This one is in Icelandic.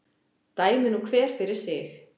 Dæmi nú hver fyrir sig.